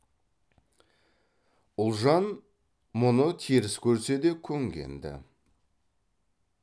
ұлжан мұны теріс көрсе де көнген ді